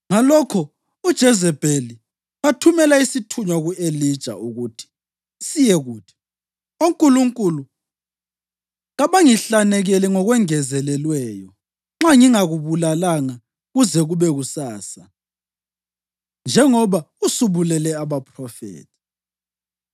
Ngalokho uJezebheli wathumela isithunywa ku-Elija ukuthi siyekuthi, “Onkulunkulu kabangihlanekele ngokwengezelelweyo nxa ngingakubulalanga kuze kube kusasa, njengoba usubulele abaphrofethi.”